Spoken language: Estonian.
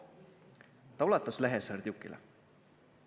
" Ta ulatas lehe Serdjukile.